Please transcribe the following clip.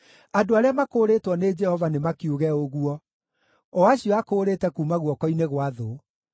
Andũ arĩa makũũrĩtwo nĩ Jehova nĩmakiuge ũguo: o acio akũũrĩte kuuma guoko-inĩ gwa thũ,